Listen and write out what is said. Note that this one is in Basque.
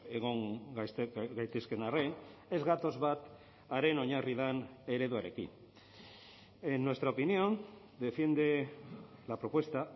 egon gaitezkeen arren ez gatoz bat haren oinarri den ereduarekin en nuestra opinión defiende la propuesta